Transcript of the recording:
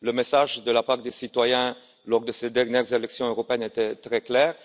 Le message de la part des citoyens, lors de ces dernières élections européennes, était très clair.